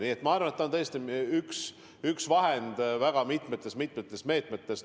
Nii et ma arvan, et see on tõesti üks vahend väga mitmete meetmete hulgas.